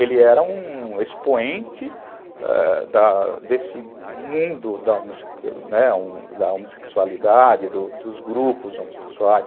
Ele era um expoente, ãh, da desse mundo da homossexualidade, dos grupos homossexuais.